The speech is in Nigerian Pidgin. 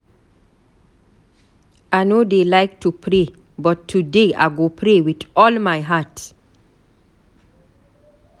I no dey like to pray, but today I go pray with all my heart.